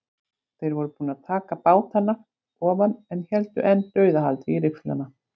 Þeir voru búnir að taka bátana ofan en héldu enn dauðahaldi í rifflana.